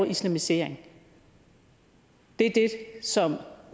islamiseringen det er det som